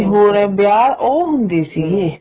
ਨੀਂ ਹੁਣ ਇਹ ਵਿਆਹ ਉਹ ਹੁੰਦੀ ਸੀਗੇ